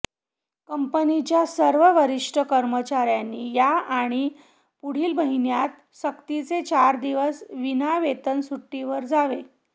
कंपनीच्या सर्व वरिष्ठ कर्मचाऱ्यांनी या आणि पुढील महिन्यात सक्तीने चार दिवस विना वेतन सुट्टीवर जावे